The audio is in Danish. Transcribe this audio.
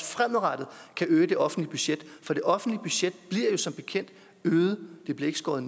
fremadrettet kan øge det offentlige budget for det offentlige budget bliver jo som bekendt øget det bliver ikke skåret